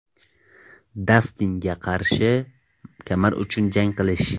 Dastinga qarshi kamar uchun jang qilish?